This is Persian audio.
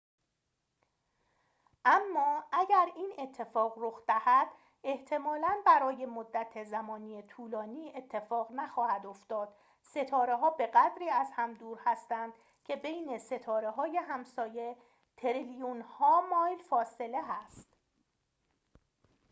اما اگر این اتفاق رخ دهد احتمالاً برای مدت زمانی طولانی اتفاقی نخواهد افتاد ستاره‌ها به‌قدری از هم دور هستند که بین ستاره‌های همسایه تریلیون‌ها مایل فاصله هست